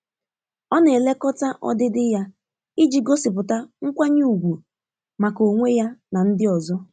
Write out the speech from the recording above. Ọ na-elekọta ọdịdị ya iji gosipụta nkwanye ùgwù maka onwe ya na ndị ọzọ.